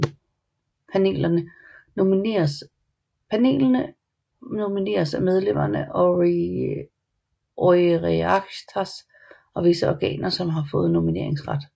Panelene nomineres af medlemmene af Oireachtas og visse organer som har fået nomineringsret